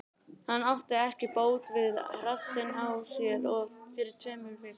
Hann sem átti ekki bót fyrir rassinn á sér fyrir tveimur vikum?